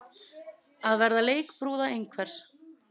Að vera leikbrúða einhvers